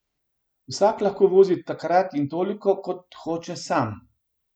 Vsak lahko vozi takrat in toliko, kot hoče sam.